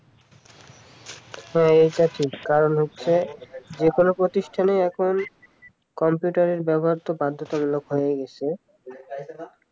হ্যাঁ এটা ঠিক কারণ হচ্ছে যে কোন প্রতিষ্ঠানেই এখন কম্পিউটারের ব্যবহার তো বাধ্যতামূলক হয়ে গেছে